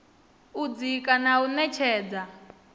u dzika na u ṅetshedza